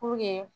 Puruke